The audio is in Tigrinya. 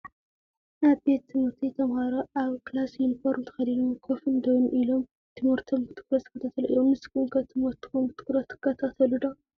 ኣብ ቤት ትምህርቲ ተማሃሮ ኣብ ክላስ ዩኒፎርም ተከዲኖም ኮፍን ደውን ኢሎም ትምህርቶም ብትኩረት ዝከታተሉ እዮም። ንስኩም ከ ትምህርትኩም ብትኩረት ትካታተሉ ዶ ?